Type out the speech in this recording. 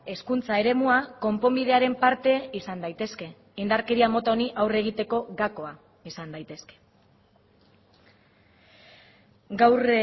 hezkuntza eremua konponbidearen parte izan daitezke indarkeria mota honi aurre egiteko gakoa izan daitezke gaur